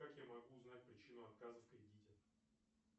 как я могу узнать причину отказа в кредите